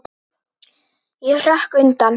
Ég hrökk undan.